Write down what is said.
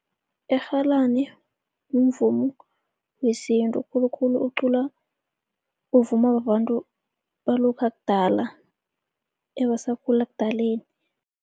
Irhalani mvumo wesintu, khulukhulu uculwa, uvumwa babantu balokha kudala ebasakhula ekudaleni.